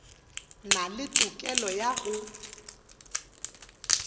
na le tokelo ya go